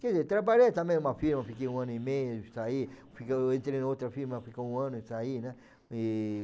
Quer dizer, trabalhei também em uma firma, fiquei um ano e meio, saí, fiquei, entrei em outra firma, fiquei um ano e saí, né? E...